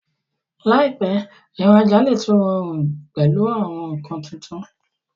láìpé, ìra'jà lè tún rọrùn pẹ̀lú àwọn nǹkan tuntun